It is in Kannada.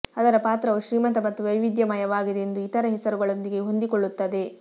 ಅದರ ಪಾತ್ರವು ಶ್ರೀಮಂತ ಮತ್ತು ವೈವಿಧ್ಯಮಯವಾಗಿದೆ ಎಂದು ಇತರ ಹೆಸರುಗಳೊಂದಿಗೆ ಹೊಂದಿಕೊಳ್ಳುತ್ತದೆ